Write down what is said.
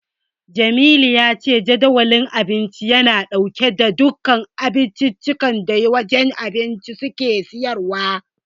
Jamilu ya ce Jadawalin Abinci yana dauke da duka abincikan da wajen abinci suke siyarwa.